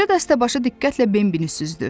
Qoca dəstəbaşı diqqətlə Bambini süzdü.